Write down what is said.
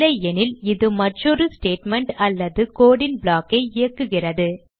இல்லையெனில் இது மற்றொரு ஸ்டேட்மெண்ட் அல்லது code ன் block ஐ இயக்குகிறது